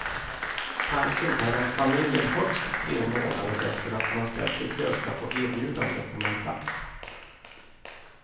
Tanken är att familjen högst tre månader efter det att man ställt sig i kö ska få erbjudande om en plats.